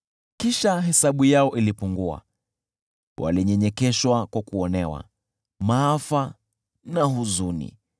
Kisha hesabu yao ilipungua, na walinyenyekeshwa kwa kuonewa, maafa na huzuni.